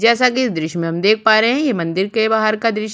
जैसा की इस दृश्य में हम देख पा रहे है ये मंदिर के बाहर का दृश्य --